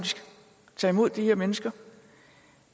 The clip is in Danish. tage imod de her mennesker